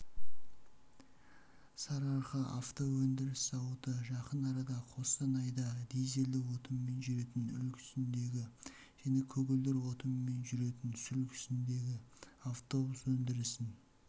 сарыарқаавтоөндіріс зауыты жақын арада қостанайда дизельді отынмен жүретін үлгісіндегі және көгілдір отынмен жүретін сүлгісіндегі автобус өндірісін